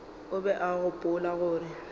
o be a gopola gore